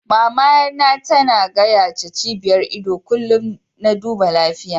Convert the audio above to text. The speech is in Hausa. Mama na ta na gayace cibiyar ido kullum na duba lafiya.